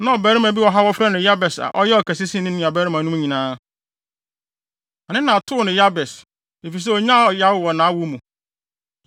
Na ɔbarima bi wɔ hɔ a wɔfrɛ no Yabes a ɔyɛɛ ɔkɛse sen ne nuabarimanom nyinaa. Ne na too no din Yabes, efisɛ onyaa ɔyaw wɔ nʼawo mu.